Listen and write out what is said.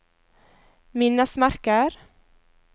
minnesmerker